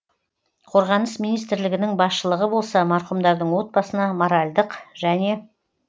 қорғаныс министрлігінің басшылығы болса марқұмдардың отбасына моральдық және